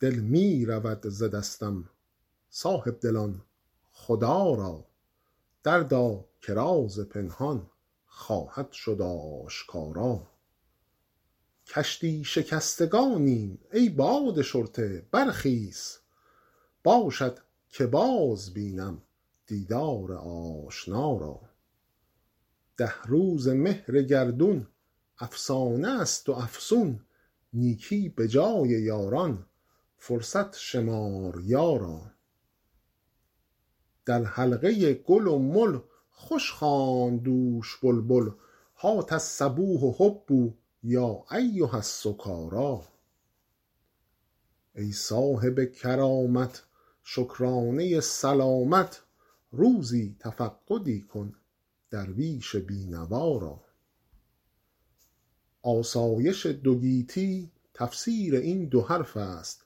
دل می رود ز دستم صاحب دلان خدا را دردا که راز پنهان خواهد شد آشکارا کشتی شکستگانیم ای باد شرطه برخیز باشد که باز بینم دیدار آشنا را ده روزه مهر گردون افسانه است و افسون نیکی به جای یاران فرصت شمار یارا در حلقه گل و مل خوش خواند دوش بلبل هات الصبوح هبوا یا ایها السکارا ای صاحب کرامت شکرانه سلامت روزی تفقدی کن درویش بی نوا را آسایش دو گیتی تفسیر این دو حرف است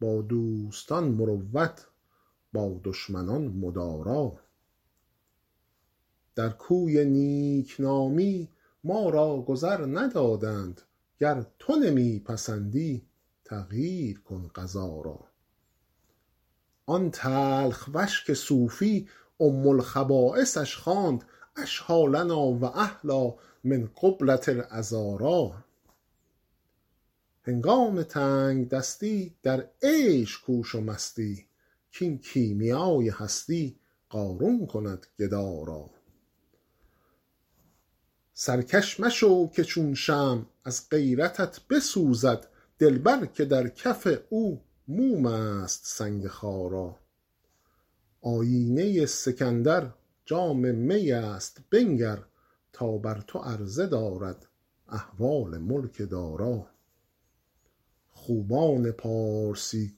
با دوستان مروت با دشمنان مدارا در کوی نیک نامی ما را گذر ندادند گر تو نمی پسندی تغییر کن قضا را آن تلخ وش که صوفی ام الخبایثش خواند اشهیٰ لنا و احلیٰ من قبلة العذارا هنگام تنگ دستی در عیش کوش و مستی کاین کیمیای هستی قارون کند گدا را سرکش مشو که چون شمع از غیرتت بسوزد دلبر که در کف او موم است سنگ خارا آیینه سکندر جام می است بنگر تا بر تو عرضه دارد احوال ملک دارا خوبان پارسی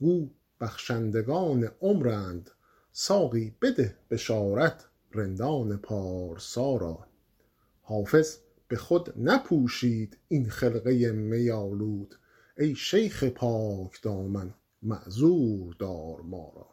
گو بخشندگان عمرند ساقی بده بشارت رندان پارسا را حافظ به خود نپوشید این خرقه می آلود ای شیخ پاک دامن معذور دار ما را